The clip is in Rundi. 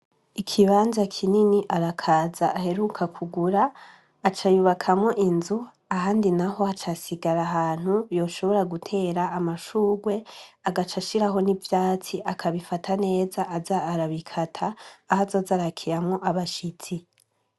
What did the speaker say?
Ikibanza kinini, Arakaza aheruka kugura aca yubakamwo inzu ,ahandi naho haca hasigara ahantu yoshobora gutera amashurwe agaca agashiraho n'ivyatsi akabifata neza aza arabikata aho azoza arakoriramwo abashitsi.